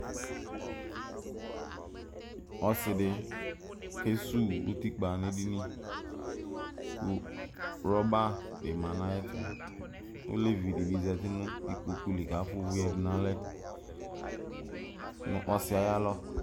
Ɔsidi kesuwu utikpa n'edini kʋ ɣlɔba bi ma n'ayɛtʋ Olevi di bi zati nʋ ikpoku li k'afua ʋvʋ yǝdʋ n'alɛ nʋ ɔsi yɛ ayalɔ